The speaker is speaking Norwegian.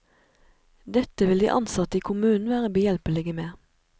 Dette vil de ansatte i kommunen være behjelpelige med.